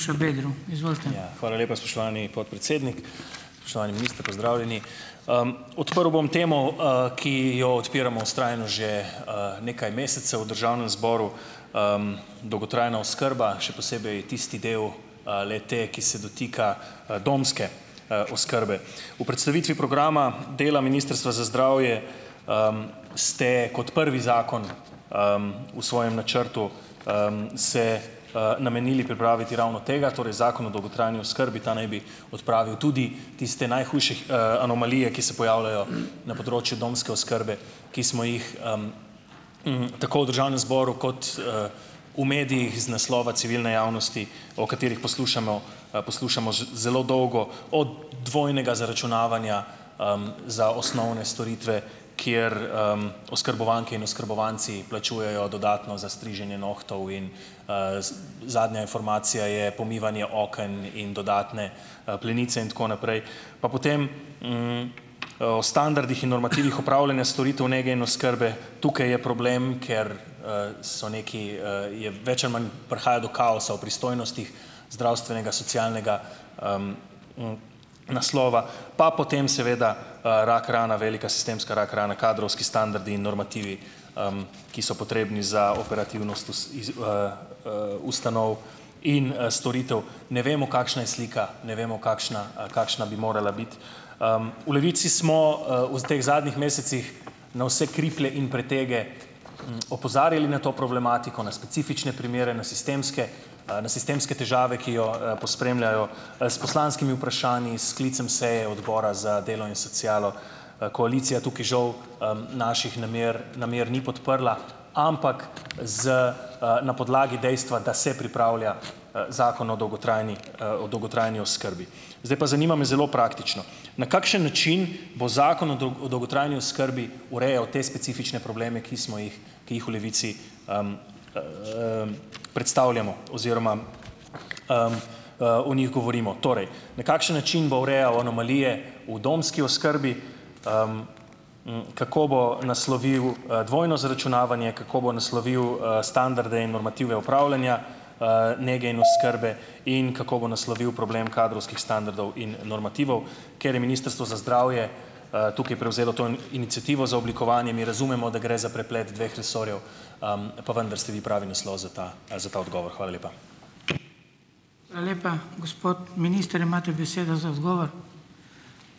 Ja, hvala lepa spoštovani podpredsednik, spoštovani minister, pozdravljeni. Odprl bom temo, ki jo odpiramo vztrajno že, nekaj mesecev v državnem zboru - dolgotrajna oskrba, še posebej tisti del, le-te, ki se dotika, domske, oskrbe. V predstavitvi programa dela Ministrstva za zdravje, ste kot prvi zakon, v svojem načrtu, se, namenili pripraviti ravno tega, torej Zakon o dolgotrajni oskrbi. Ta naj bi odpravil tudi tiste najhujše anomalije, ki se pojavljajo na področju domske oskrbe, ki smo jih, tako v državnem zboru, kot v medijih iz naslova civilne javnosti, o katerih poslušamo, poslušamo zelo dolgo od dvojnega zaračunavanja, za osnovne storitve, kjer, oskrbovanke in oskrbovanci plačujejo dodatno za striženje nohtov in, zadnja informacija je pomivanje okno in dodatne, plenice in tako naprej. Pa potem, o standardih in normativih upravljanja storitev nege in oskrbe. Tukaj je problem, ker, so nekaj, je več ali manj prihaja do kaosa v pristojnostih zdravstvenega, socialnega, naslova. Pa potem seveda, rak rana, velika sistemska rak rana - kadrovski standardi in normativi, ki so potrebni za operativnost ustanov in, storitev. Ne vemo, kakšna je slika, ne vemo, kakšna, kakšna bi morala biti. V Levici smo, v teh zadnjih mesecih na vse kriplje in pretege, opozarjali na to problematiko, na specifične primere, na sistemske, na sistemske težave, ki jo, pospremljajo, s poslanskimi vprašanji, s sklicem seje odbora za delo in socialo. Koalicija tukaj žal, naših namer namer ni podprla, ampak z, na podlagi dejstva, da se pripravlja, Zakon o dolgotrajni, o dolgotrajni oskrbi. Zdaj pa zanima me zelo praktično. Na kakšen način bo Zakon o o dolgotrajni oskrbi urejal te specifične probleme, ki smo jih, ki jih v Levici, predstavljamo oziroma, o njih govorimo? Torej, na kakšen način bo urejal anomalije v domski oskrbi? Kako bo naslovil, dvojno zaračunavanje, kako bo naslovil, standarde in normative opravljanja, nege in oskrbe in kako bo naslovil problem kadrovskih standardov in normativov? Ker je Ministrstvo za zdravje, tukaj prevzelo to iniciativo za oblikovanje. Mi razumemo, da gre za preplet dveh resorjev, pa vendar ste vi pravi naslov za ta, za ta odgovor. Hvala lepa.